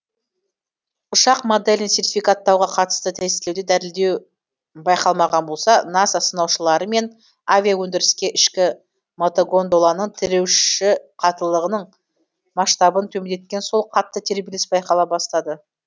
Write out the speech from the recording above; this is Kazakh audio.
ұшақ моделін сертификаттауға қатысты тестілеуде дірілдеу байқалмаған болса наса сынаушылары мен авиаөндіріске ішкі мотогондоланың тіреуіші қаттылығының масштабын төмендеткені сол қатты тербеліс байқала бастады